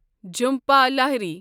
Jhumpa Lahiri